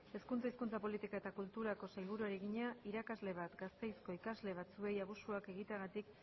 hezkuntza hizkuntza politika eta kulturako sailburuari egina irakasle bat gasteizko ikasle batzuei abusuak egiteagatik